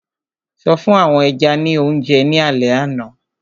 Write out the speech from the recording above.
So fún àwọn ẹja ní oúnjẹ ní alẹ àná?